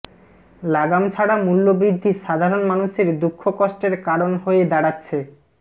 লাগামছাড়া মূল্যবৃদ্ধি সাধারণ মানুষের দুঃখ কষ্টের কারণ হয়ে দাঁড়াচ্ছে